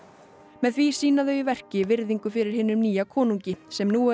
með því sýna þau í verki virðingu fyrir hinum nýja konungi sem nú er